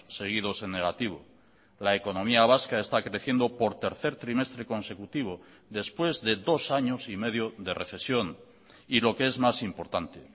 seguidos en negativo la economía vasca está creciendo por tercer trimestre consecutivo después de dos años y medio de recesión y lo que es más importante